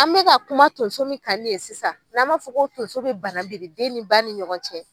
An bɛka kuma tonso min kan nin ye sisan n'an b'a fɔ ko tonso bɛ banamini den ni ba ni ɲɔgɔncɛ.